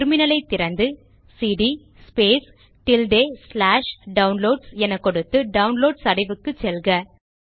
terminal ஐ திறந்து CD Downloads என கொடுத்து டவுன்லோட்ஸ் அடைவுக்கு செல்க